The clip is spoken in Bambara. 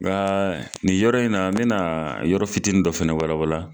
Nka nin yɔrɔ in na, n bɛna yɔrɔ fitinin dɔ fana walawala.